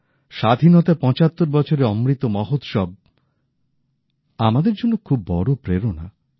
স্বাধীনতার ৭৫ বছরের অমৃত মহোৎসব আমাদের জন্য খুব বড় প্রেরণা